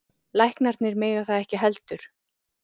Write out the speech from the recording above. Læknarnir mega það ekki heldur.